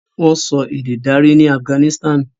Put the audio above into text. Wón sọ ede darí ní Afiganisitani.